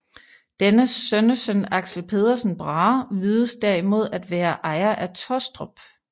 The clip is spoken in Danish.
Dennes sønnesøn Axel Pedersen Brahe vides derimod at være ejer af Tostrup